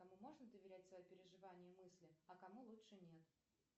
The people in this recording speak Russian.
кому можно доверять свои переживания и мысли а кому лучше нет